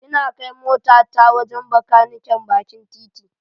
Ina kai motata wajen Bakaniken bakin titi.